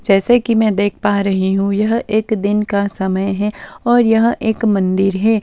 जैसे कि मैं देख पा रही हूं यह एक दिन का समय है और यह एक मंदिर है।